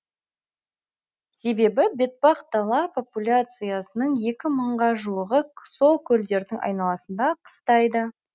себебі бетпақдала популяциясының екі мыңға жуығы сол көлдердің айналасында қыстайды